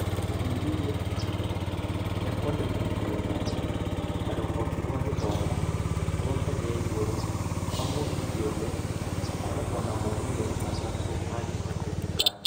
Gũthuthuria ihoya rĩa kwandĩkwo ta gĩthomo ta rũhonge rwa gĩthomo rwa ngathĩ ya igũrũ kwa mũndũ kĩũmbe gũkoragwo na moimĩrĩra matatũ mangĩhoteteka: